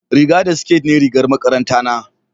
riga da siket ne rigar makaranta na